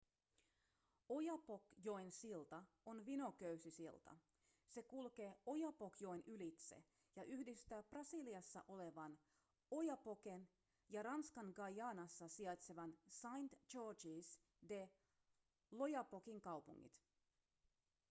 oyapock-joen silta on vinoköysisilta se kulkee oyapock-joen ylitse ja yhdistää brasiliassa olevan oiapoquen ja ranskan guayanassa sijaitsevan saint-georges de l'oyapockin kaupungit